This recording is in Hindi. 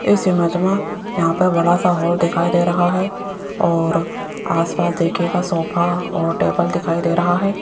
इस इमेज मे यहां पे बड़ा सा हॉल दिखाई दे रहा है और आस पास देखियेगा सोफा और टेबल दिखाई दे रहा है।